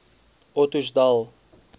ottosdal